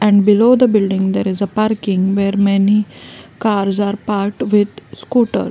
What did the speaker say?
And below the building there is a parking where many cars are parked with scooters.